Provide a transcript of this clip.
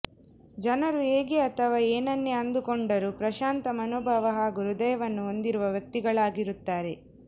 ಜನರು ಹೇಗೆ ಅಥವಾ ಏನನ್ನೇ ಅಂದುಕೊಂಡರೂ ಪ್ರಶಾಂತ ಮನೋಭಾವ ಹಾಗೂ ಹೃದಯವನ್ನು ಹೊಂದಿರುವ ವ್ಯಕ್ತಿಗಳಾಗಿರುತ್ತಾರೆ